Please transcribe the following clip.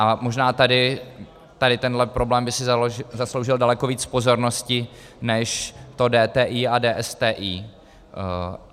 A možná tady tenhle problém by si zasloužil daleko víc pozornosti než to DTI a DSTI.